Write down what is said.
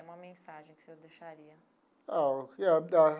Uma mensagem que o senhor deixaria. Ah.